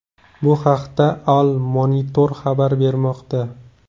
Bu haqda Al-Monitor xabar bermoqda .